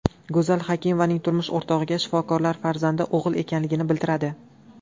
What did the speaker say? Go‘zal Hakimovaning turmush o‘rtog‘iga shifokorlar farzandi o‘g‘il ekanligini bildiradi.